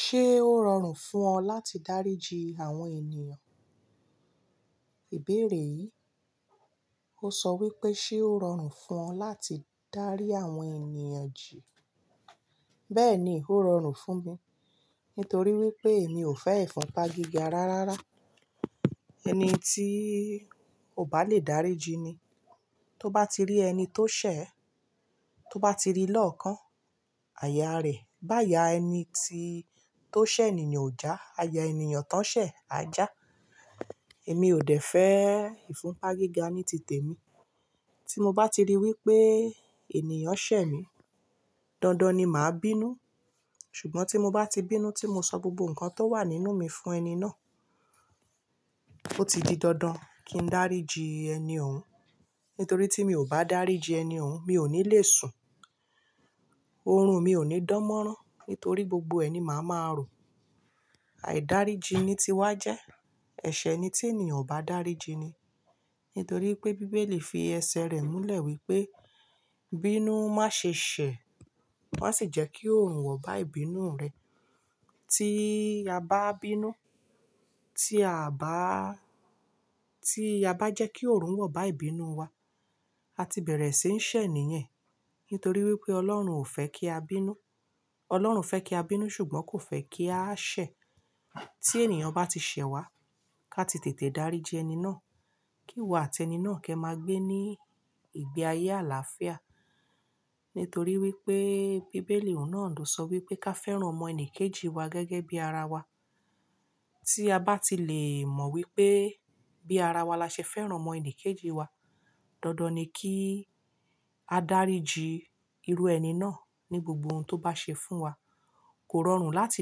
Ṣé ó rọrùn fún ọ láti dáríji àwọn ènìyàn? Ìbéèrè yìí, ó sọ wípé ṣé ó rọrùn fún ọ láti dárí àwọn ènìyàn jì? Bẹ́ẹ̀ni, ó rọrùn fún mi, nítorí wípé èmi ò fẹ́ ìfọ̀pá gíga rárára. Ẹni tí ó bá le daríji ni. Tó bá ti rí ẹni tó ṣẹ̀, tó bá ti rí lọ́ọkàn, àyà rẹ̀, bá ayà ẹni tí tó ṣẹ̀ ènìyàn ò já, ayà ènìyàn tán ṣẹ̀, aja. Èmi ò dẹ̀ fẹ́ ìfọ̀pá gíga ní tìtẹ̀ mi. Tí mo bá ti rí wípé ènìyàn ṣẹ̀ mi, dandan ni màá bínú. Ṣùgbọ́n tí mo bá ti bínú tí mo sọ gbogbo nǹkan tó wà nínú mi fún ẹni náà, ó ti di dandan kí n daríji ẹni òun. Nítorí tí mi ò bá daríji ẹni òun, mi ò ní lè sùn. Orun mi ò ní dánmọ́rán, nítorí gbogbo ẹni màá máa rò. À dáríji ni tí wá jẹ́. Ẹ̀ṣẹ̀ ni tí ènìyàn ò bá daríji ni. Nítorí pé Bíbélì fi ẹsẹ̀ rẹ̀ múlẹ̀ wípé, "Bínú má ṣe ṣẹ̀, má sì jẹ́ kí oòrùn wọ̀ bá ìbínú rẹ." Tí a bá bínú, tí a bá, tí a bá jẹ́ kí oòrùn wọ̀ bá ìbínú wa, a ti bẹ̀rẹ̀ sí í ṣẹ̀ ènìyàn. Nítorí wípé Ọlọ́run ò fẹ́ kí a bínú. Ọlọ́run fẹ́ kí a bínú ṣùgbọ́n kò fẹ́ kí a ṣẹ̀. Tí ènìyàn bá ti ṣẹ̀ wá, ká ti tètè dáríji ẹni náà, kí wa àti ẹni náà kí ẹ máa gbé ní ìgbé ayé àlàáfíà. Nítorí wípé Bíbélì òun náà ló sọ wípé ká fẹ́ràn ọmọ ẹnìkejì wa gẹ́gẹ́ bí ara wa. Tí a bá ti lè mọ̀ wípé bí ara wa la ṣe fẹ́ràn ọmọ ẹnìkejì wa, dandan ni kí a dáríji irú ẹni náà ní gbogbo ohun tó bá ṣe fún wa. Kò rọrùn láti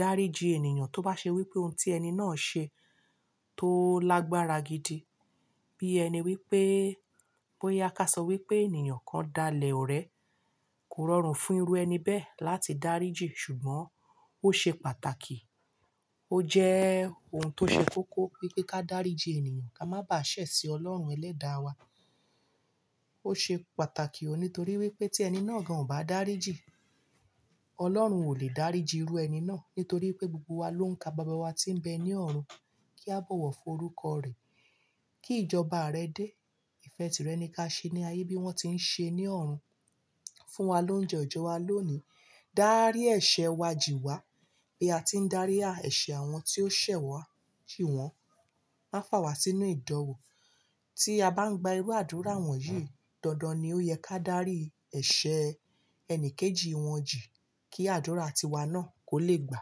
dáríji ènìyàn tó bá ṣe wípé ohun tí ẹni náà ṣe tó lágbára gidi. Bí ẹni wípé bóyá ká sọ wípé ènìyàn kan dalẹ̀ ọ̀rẹ́, kò rọrùn fún irú ẹni bẹ́ẹ̀ láti daríji ṣùgbọ́n ó ṣe pàtàkì. Ó jẹ́ ohun tó ṣe kókó wípé ká dáríji ènìyàn, ká má bà á ṣẹ̀ sí Ọlọ́run Ẹlẹ́da wa. Ó ṣe pàtàkì òun nítorí wípé tí ẹni náà gan ò bá daríji, Ọlọ́run ò lè dáríji irú ẹni náà. Nítorí pé gbogbo wa ló ń ka bàbá wa tí ń bẹ ní ọ̀run kí a bọ̀wọ̀ fún orúkọ rẹ̀, kí ìjọba rẹ̀ dé, ìfẹ́ tìrẹ ni kí á ṣe ní ayé bí wón tí ń ṣe ní ọ̀run. Fún wa lóun jẹ́ Ọjọ́ wa lónìí. Dárí ẹ̀ṣẹ̀ wa jì wá, bí a ti ń darí ẹ̀ṣẹ̀ àwọn tí ó ṣẹ̀ wá jì wọ́n. Má fà wá sínú ìdanwo Tí a bá ń gba irú àdúrà wọ̀nyí, dandan ni ó yẹ ká dárí ẹ̀ṣẹ̀ ẹni kejì wọn jì kí àdúrà ti wa náà kó lè gbà.